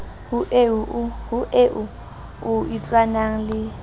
ho eo o itlwanang le